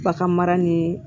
Bagan mara ni